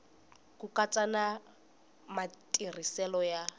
ku katsa na matirhiselo ya